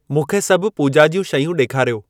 मूंखे सभ पूजा॒ ज्यूं शयूं ॾेखारियो।